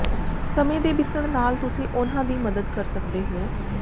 ਸਮੇਂ ਦੇ ਬੀਤਣ ਨਾਲ ਤੁਸੀਂ ਉਨ੍ਹਾਂ ਦੀ ਮਦਦ ਕਰ ਸਕਦੇ ਹੋ